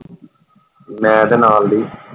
ਮੈਂ ਤੇ ਨਾਲਦੀ।